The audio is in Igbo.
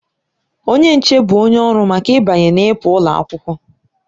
Onye nche bụ onye ọrụ maka ịbanye na ịpụ ụlọ akwụkwọ.